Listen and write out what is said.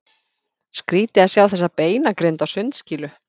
Skrýtið að sjá þessa beinagrind á sundskýlu!